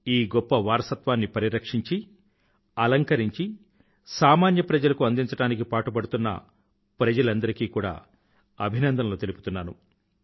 ఈ గొప్ప వారసత్వాన్ని పరిరక్షించి అలంకరించి సామాన్య ప్రజలకు అందించడానికి పాటుపడుతున్న ప్రజలందరికీ కూడా అభినందనలు తెలుపుతున్నాను